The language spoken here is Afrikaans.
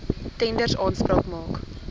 tenders aanspraak maak